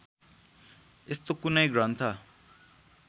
यस्तो कुनै ग्रन्थ